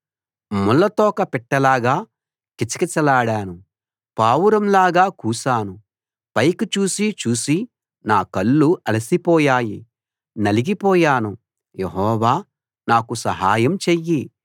ముళ్ళ తోక పిట్టలాగా కిచ కిచలాడాను పావురం లాగా కూశాను పైకి చూసీ చూసీ నా కళ్ళు అలసిపోయాయి నలిగి పోయాను యెహోవా నాకు సహాయం చెయ్యి